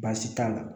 Baasi t'a la